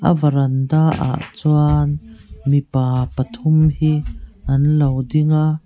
a varanda ah chuan mipa pathum hi an lo ding a.